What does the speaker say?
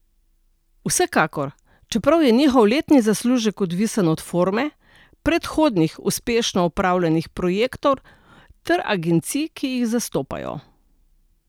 Vsekakor, čeprav je njihov letni zaslužek odvisen od forme, predhodnih uspešno opravljenih projektov ter agencij, ki jih zastopajo.